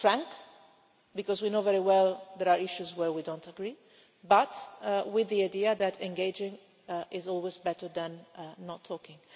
It is frank, because we know very well that there are issues where we do not agree, but with the idea that engaging is always better than not talking.